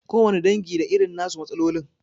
Kowane dangi da irin na su matsalolin.